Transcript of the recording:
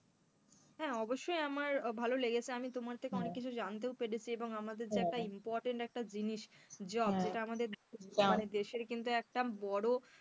হ্যাঁ, অবশ্যই আমার ভালো লেগেছে আমি তোমার থেকে অনেক কিছুই জানতেও পেরেছি এবং আমাদের যে একটা important একটা জিনিস job যেটা আমাদের দেশের কিন্তু একটা বড়,